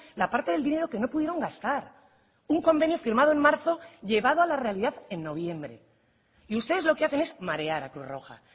la parte del dinero que no pudieron gastar un convenio firmado en marzo llevado a la realidad en noviembre y ustedes lo que hacen es marear a cruz roja